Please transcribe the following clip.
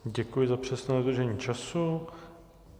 Děkuji za přesné dodržení času.